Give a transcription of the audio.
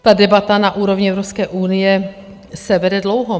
Ta debata na úrovni Evropské unie se vede dlouho.